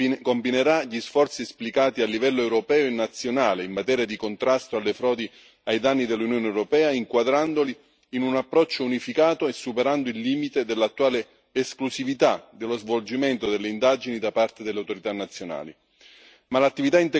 dell'Unione combinerà gli sforzi esplicati a livello europeo e nazionale in materia di contrasto alle frodi ai danni dell'Unione europea, inquadrandoli in un approccio unificato e superando il limite dell'attuale esclusività dello svolgimento delle indagini da parte delle autorità nazionali.